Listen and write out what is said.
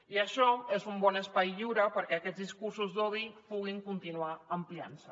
i això és un bon espai lliure perquè aquests discursos d’odi puguin continuar ampliant se